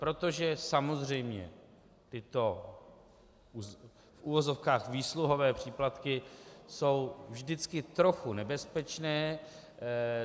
Protože samozřejmě tyto, v uvozovkách, výsluhové příplatky jsou vždycky trochu nebezpečné.